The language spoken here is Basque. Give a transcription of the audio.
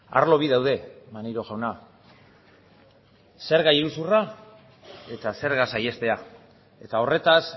arlo bi daude maneiro jauna zerga iruzurra eta zerga saihestea eta horretaz